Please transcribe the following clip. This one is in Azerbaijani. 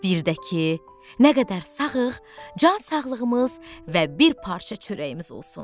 Birdə ki, nə qədər sağığıq, can sağlığımız və bir parça çörəyimiz olsun.